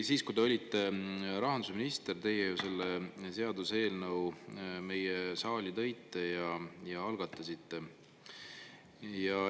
Siis, kui te olite rahandusminister, teie ju selle seaduse eelnõu meile saali tõite ja algatasite.